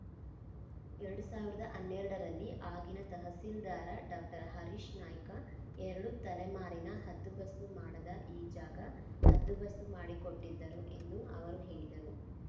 ಎರಡು ಸಾವಿರದ ಹನ್ನೆರಡರಲ್ಲಿ ಆಗಿನ ತಹಸೀಲ್ದಾರ್‌ ಡಾಕ್ಟರ್ ಹರೀಶ ನಾಯ್ಕ ಎರಡು ತಲೆಮಾರಿನ ಹದ್ದುಬಸ್ತು ಮಾಡದ ಈ ಜಾಗ ಹದ್ದುಬಸ್ತು ಮಾಡಿಕೊಟ್ಟಿದ್ದರು ಎಂದು ಅವರು ಹೇಳಿದರು